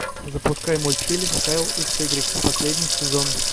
запускай мультфильм кайл икс игрек последний сезон